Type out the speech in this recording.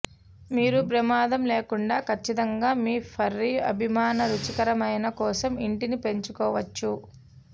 మీరు ప్రమాదం లేకుండా ఖచ్చితంగా మీ ఫర్రి అభిమాన రుచికరమైన కోసం ఇంటిని పెంచుకోవచ్చు